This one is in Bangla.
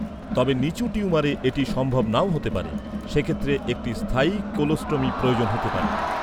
তবে, নিচু টিউমারে এটি সম্ভব নাও হতে পারে, সেক্ষেত্রে একটি স্থায়ী কোলোস্টোমি প্রয়োজন হতে পারে।